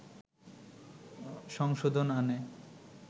সংশোধন আনে